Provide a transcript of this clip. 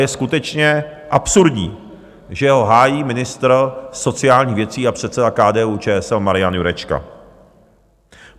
Je skutečně absurdní, že ho hájí ministr sociálních věcí a předseda KDU-ČSL Marian Jurečka.